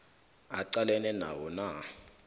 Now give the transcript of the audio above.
aqalene nawo na